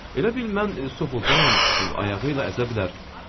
Elə bil mən Soxolcam, ayağı ilə əzə bilər.